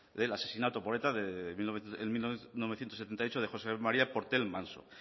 del asesinato por eta en mil novecientos setenta y ocho de josé maría portell manso